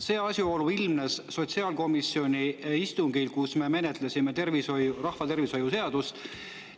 See asjaolu ilmnes sotsiaalkomisjoni istungil, kus me menetlesime rahva seadust.